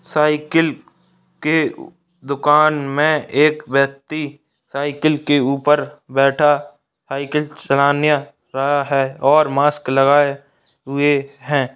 Cycle के दुकान में एक व्यक्ति साईकल के ऊपर बैठा साइकिल चलानेय रहा है और माक्स लगाए हुए है।